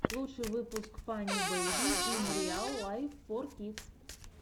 лучший выпуск фанни бэйби ин риал лайф фор кидс